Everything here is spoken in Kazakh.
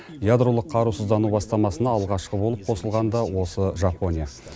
ядролық қарусыздану бастамасына алғашқы болып қосылған да осы жапония